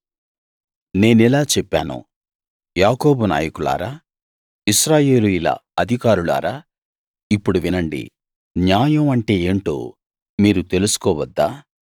నేనిలా చెప్పాను యాకోబు నాయకులారా ఇశ్రాయేలీయుల అధికారులారా ఇప్పుడు వినండి న్యాయం అంటే ఏంటో మీరు తెలుసుకోవద్దా